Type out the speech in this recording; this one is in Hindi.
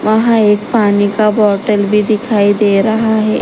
वहां एक पानी का बॉटल भी दिखाई दे रहा है।